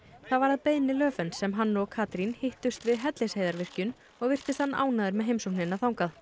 það var að beiðni Löfvens sem hann og Katrín hittust við Hellisheiðarvirkjun og virtist hann ánægður með heimsóknina þangað